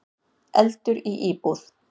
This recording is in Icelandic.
Eldur í íbúð